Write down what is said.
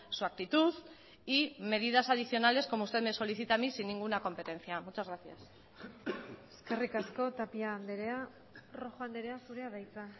su actitud y medidas adicionales como usted me solicita a mí sin ninguna competencia muchas gracias eskerrik asko tapia andrea rojo andrea zurea da hitza